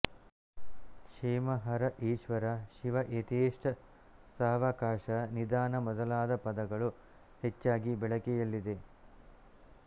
ಕ್ಷೇಮ ಹರ ಈಶ್ವರ ಶಿವ ಯಥೇಷ್ಟ ಸಾವಕಾಶ ನಿಧಾನ ಮೊದಲಾದ ಪದಗಳು ಹೆಚ್ಚಾಗಿ ಬಳಕೆಯಲ್ಲಿದೆ